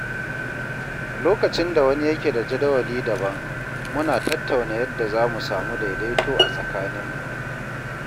Lokacin da wani yake da jadawali daban, muna tattauna yadda zamu samu daidaito a tsakaninmu.